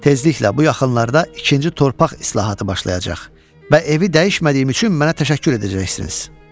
Tezliklə bu yaxınlarda ikinci torpaq islahatı başlayacaq və evi dəyişmədiyim üçün mənə təşəkkür edəcəksiniz.